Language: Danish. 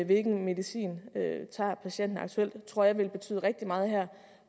hvilken medicin patienten tager aktuelt tror jeg vil betyde rigtig meget her